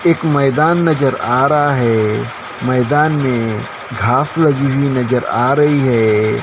एक मैदान नजर आ रहा है मैदान में घास लगी हुई नजर आ रही है।